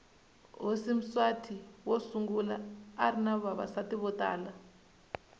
hhosi mswati wosungula arinavavasati votala